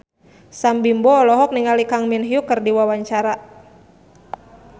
Sam Bimbo olohok ningali Kang Min Hyuk keur diwawancara